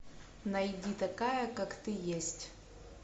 найди такая как ты есть